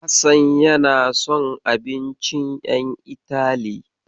Hassan yana son abincin ƴan Itali.